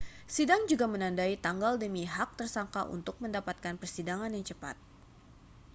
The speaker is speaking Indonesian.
sidang juga menandai tanggal demi hak tersangka untuk mendapatkan persidangan yang cepat